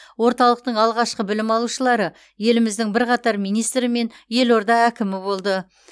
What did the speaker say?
орталықтың алғашқы білім алушылары еліміздің бірқатар министрі мен елорда әкімі болды